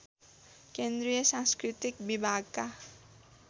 केन्द्रीय सांस्कृतिक विभागका